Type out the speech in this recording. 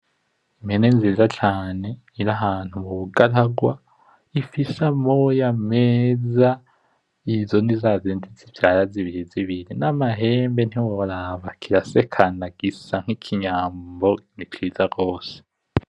Impene nziza cane iri ahantu mubugararwa ifise amoya meza , izo ni zazindi zivyara zibiri zibiri , namahembe ntiworaba ,kirasekana gisa nkinyambo nzinziza gose .